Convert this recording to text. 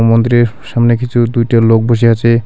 এই মন্দিরের সামনে কিছু দুইটা লোক বইসা আছে.